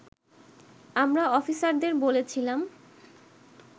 আমরা অফিসারদের বলেছিলাম